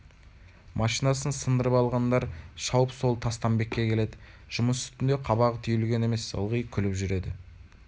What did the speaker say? машинасын сындырып алғандар шауып сол тастамбекке келеді жұмыс үстінде қабағы түйілген емес ылғи күліп жүреді